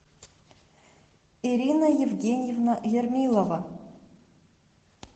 ирина евгеньевна ермилова